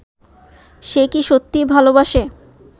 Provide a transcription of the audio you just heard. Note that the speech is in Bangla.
সে কি সত্যিই ভালোবাসে